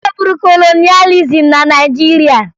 E nweburu kolonịalịzim na Naịjirịa